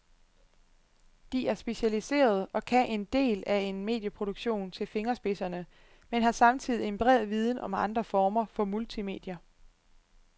De er specialiserede og kan én del af en medieproduktion til fingerspidserne, men har samtidig en bred viden om andre former for multimedier.